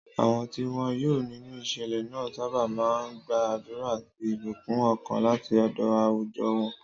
Àwọn tí wọ́n yọ nínú ìṣẹ̀lẹ̀ náà sábà máa ń gba àdúrà àti ìbùkún ọkàn láti ọ̀dọ̀ àwùjọ wọn.